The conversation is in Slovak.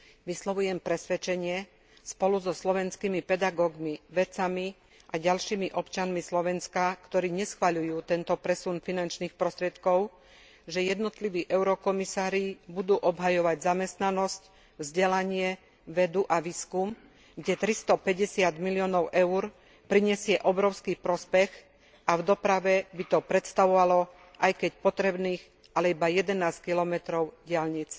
Vyslovujem presvedčenie, spolu so slovenskými pedagógmi, vedcami a ďalšími občanmi Slovenska, ktorí neschvaľujú tento presun finančných prostriedkov, že jednotliví eurokomisári budú obhajovať zamestnanosť, vzdelanie, vedu a výskum, kde 350 miliónov EUR prinesie obrovský prospech, pričom v doprave by to predstavovalo aj keď potrebných, ale iba 11 kilometrov diaľnic.